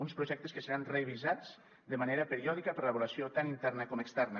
uns projectes que seran revisats de manera periòdica per l’avaluació tant interna com externa